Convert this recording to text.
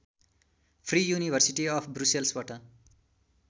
free university of ब्रुसेल्सबाट